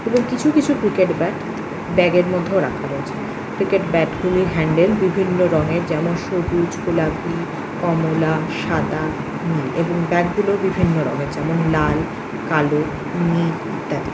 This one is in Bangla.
এবং কিছু কিছু ক্রিকেট ব্যাট ব্যাগের মধ্যেও রাখা রয়েছে। ক্রিকেট ব্যাট গুলি হ্যান্ডেল বিভিন্ন রঙের যেমন সবুজ গোলাপি কমলা সাদা নীল এবং ব্যাগ গুলোও বিভিন্ন রঙের যেমন লাল কালো নীল ইত্যাদি